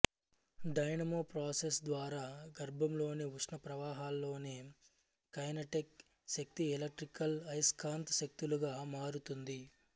dynamo process ద్వారా గర్భంలోని ఉష్ణ ప్రవాహాల్లోని కైనెటిక్ శక్తి ఎలక్ట్రికల్ అయస్కాంత శక్తులుగా మారుతుంది